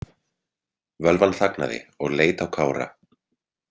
Völvan þagnaði og leit á Kára.